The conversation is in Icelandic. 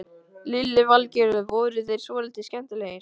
Lillý Valgerður: Voru þeir svolítið skemmtilegir?